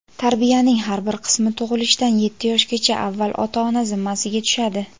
Tarbiyaning har bir qismi tug‘ilishdan yetti yoshgacha avval ota-ona zimmasiga tushadi.